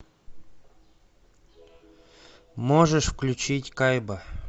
можешь включить кайба